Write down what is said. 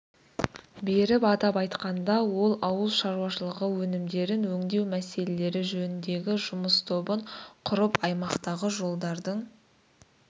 берді атап айтқанда ол ауыл шаруашылығы өнімдерін өңдеу мәселелері жөніндегі жұмыс тобын құрып аймақтағы жолдардың